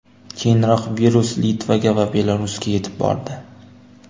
Keyinroq virus Litvaga va Belarusga yetib bordi.